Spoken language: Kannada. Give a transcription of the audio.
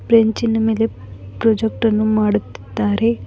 ಬ್ರೇಂಚಿನ ಮೇಲೆ ಪ್ರೊಜೆಕ್ಟ್ ಅನ್ನು ಮಾಡುತ್ತಿದ್ದಾರೆ.